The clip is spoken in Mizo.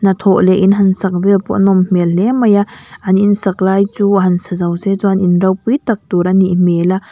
hnathawh leh in han sak vel pawh a nawm hmel hle mai a an in sak lai chu han sa zo se chuan in ropui tak tur a nih hmel a.